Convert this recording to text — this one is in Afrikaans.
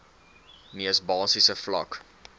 mees basiese vlak